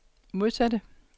modsatte